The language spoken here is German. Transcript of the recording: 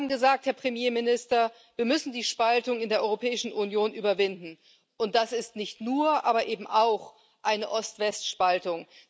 Sie haben gesagt, Herr Premierminister Wir müssen die Spaltung in der Europäischen Union überwinden, und das ist nicht nur, aber eben auch, eine Ost West Spaltung.